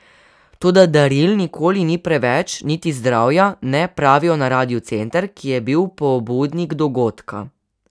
Toda daril nikoli ni preveč, niti zdravja ne, pravijo na Radiu Center, ki je bil pobudnik dogodka.